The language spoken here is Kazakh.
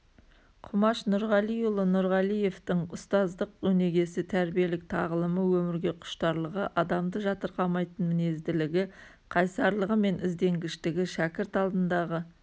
құмаш нұрғалиұлы нұрғалиевтың ұстаздық өнегесі тәрбиелік тағылымы өмірге құштарлығы адамды жатырқамайтын мінезділігі қайсарлығымен ізденгіштігі шәкірт алдындағы